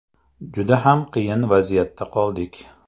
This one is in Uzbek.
Juda ham qiyin vaziyatda qoldik.